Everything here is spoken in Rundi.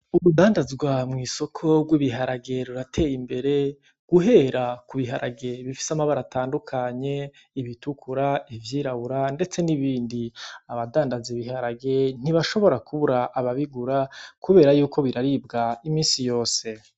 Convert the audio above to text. Urudandazwa mw'isoko rw'ibiharage rurateye imbere guhera ku biharage bifise amabara atandukanye: ibitukura, ivyirabura ndetse n'ibindi. Abadandaza ibiharage ntibashobora kubura ababigura kubera yuko biraribwa imisi yose.